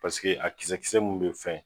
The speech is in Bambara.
a kisɛ kisɛ minnu bɛ fɛn.